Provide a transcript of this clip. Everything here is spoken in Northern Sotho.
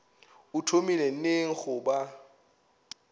o thomile neng go ba